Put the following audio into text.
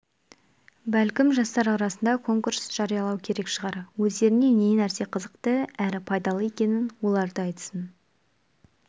бәлкім жастар арасында конкурс жариялау керек шығар өздеріне не нәрсе қызықты әрі пайдалы екенін олар да айтсын